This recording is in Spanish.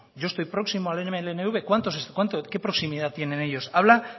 yo estoy próximo al cuánto qué proximidad tienen ellos habla